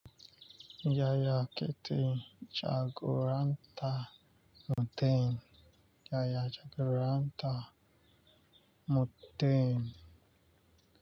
Yaya kake jaguranta mutum yaya jaguranta mutum.